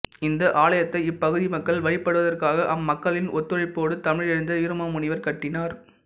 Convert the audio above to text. இந்த ஆலயத்தை இப்பகுதி மக்கள் வழிபடுவதற்காக அம்மக்களின் ஒத்துழைப்போடு தமிழறிஞர் வீரமாமுனிவா் கட்டினார்